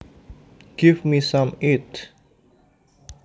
Give me some eats